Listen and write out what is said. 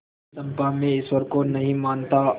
चंपा मैं ईश्वर को नहीं मानता